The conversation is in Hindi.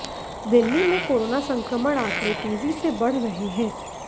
दिल्ली में कोरोना संक्रमण आंकड़े तेजी से बढ़ रहे हैं